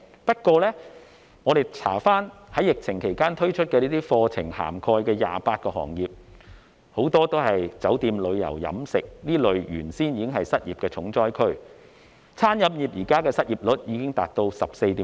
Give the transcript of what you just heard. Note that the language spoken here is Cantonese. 不過，我們查閱資料發現，在疫情期間推出的課程涵蓋的28個行業，很多都是酒店、旅遊、飲食等原本已是失業重災區的行業。